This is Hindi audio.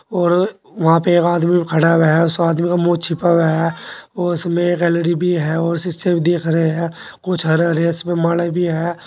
और वहां पे एक आदमी खड़ा हुआ है उस आदमी का मुंह छुपा हुआ है और उसमें एक एल_इ_डी भी है और सीसे भी दिख रहे हैं कुछ हरे हरे इसमें माले भी है।